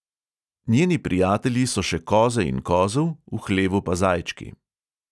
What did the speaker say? Njeni prijatelji so še koze in kozel, v hlevu pa zajčki.